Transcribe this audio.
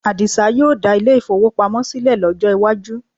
Àdìsá yóò dá ilé-ìfowópamọ́ sílẹ̀ lọ́jọ́ iwájú